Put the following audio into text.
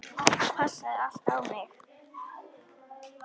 Það passaði allt á mig.